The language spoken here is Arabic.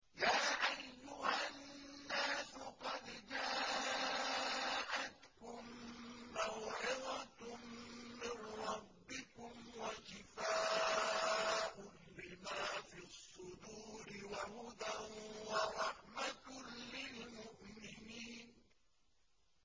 يَا أَيُّهَا النَّاسُ قَدْ جَاءَتْكُم مَّوْعِظَةٌ مِّن رَّبِّكُمْ وَشِفَاءٌ لِّمَا فِي الصُّدُورِ وَهُدًى وَرَحْمَةٌ لِّلْمُؤْمِنِينَ